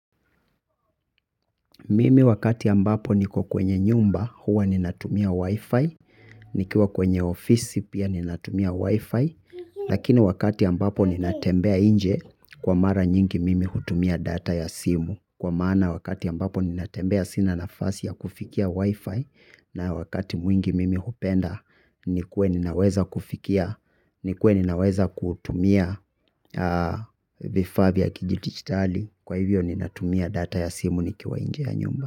Mimi wakati ambapo niko kwenye nyumba huwa ninatumia wi-fi nikiwa kwenye ofisi pia ninatumia wi-fi lakini wakati ambapo ninatembea nje kwa mara nyingi mimi hutumia data ya simu. Kwa maana wakati ambapo ninatembea sina nafasi ya kufikia wifi na wakati mwingi mimi hupenda nikuwe ninaweza kufikia nikuwe ninaweza kutumia vifaa vya kidigitali kwa hivyo ninatumia data ya simu nikiwa nje ya nyumba.